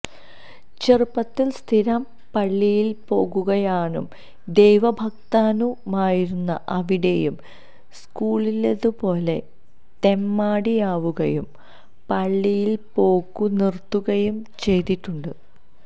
ചെറുപ്പത്തില് സ്ഥിരം പള്ളിയില്പ്പോക്കുകാരനും ദൈവ ഭക്തനുമായിരുന്ന അവിടേയും സ്ക്കൂളിലേതുപോലെ തെമ്മാടിയാവുകയും പള്ളിയില്പ്പോക്കു നിര്ത്തുകയും ചെയ്തിട്ടുണ്ട്